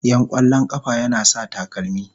Yan kwallon kafa yana sa takalma.